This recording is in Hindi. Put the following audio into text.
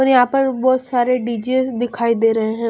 और यहां पर बहुत सारे डी_जे दिखाई दे रहे हैं।